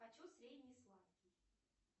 хочу средний сладкий